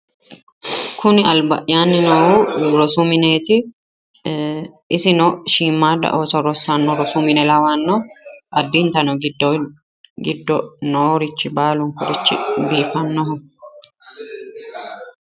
Kuni alba'yaanni noohu rosu mineeti. Isino shiimmaadda ooso rosanno rosu mine lawanno. Addintano giddo noorichi baalunkurichi biifannoho.